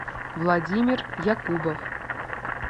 владимир якубов